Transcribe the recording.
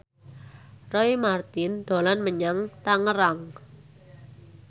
Roy Marten dolan menyang Tangerang